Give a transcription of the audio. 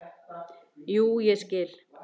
Jú, ég skil.